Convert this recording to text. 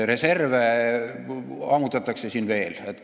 Reserve ammutatakse siin tühjaks veel.